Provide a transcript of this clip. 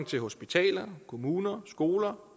til hospitaler kommuner skoler